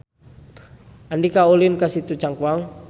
Andika ulin ka Situ Cangkuang